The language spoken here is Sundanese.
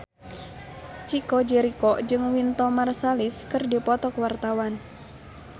Chico Jericho jeung Wynton Marsalis keur dipoto ku wartawan